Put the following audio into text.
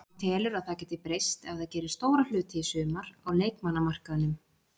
Hann telur að það geti breyst ef það gerir stóra hluti í sumar, á leikmannamarkaðnum.